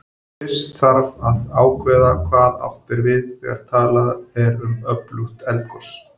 Fyrst þarf að ákveða hvað átt er við þegar talað er um öflugt eldgos.